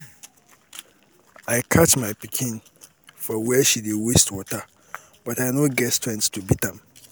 I catch my pikin for where she dey waste water but I no get strength to beat am